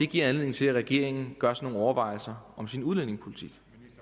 giver anledning til at regeringen gør sig nogle overvejelser om sin udlændingepolitik